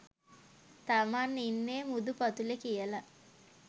තමන් ඉන්නෙ මුහුදු පතුලෙ කියලා.